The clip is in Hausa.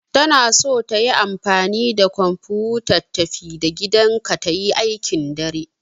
Tana son tayi amfani da kwamfuta tafi-da-gidanka ta yi aikin dare.